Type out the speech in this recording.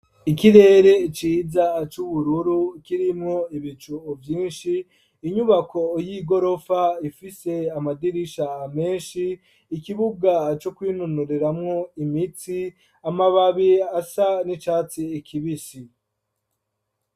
ikirere ciza c'ubururu kirimwo ibicu vyinshi inyubako y'igorofa ifise amadirisha menshi, ikibuga co kwinonoreramwo imitsi ,amababi asa n'icatsi ikibisi.